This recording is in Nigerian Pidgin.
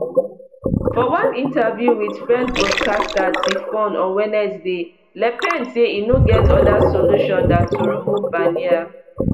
for one interview wit french broadcaster tfone on wednesday le pen say e no get oda solution dan to remove barnier